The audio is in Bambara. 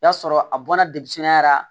O y'a sɔrɔ a bɔna la